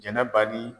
Jɛnɛba di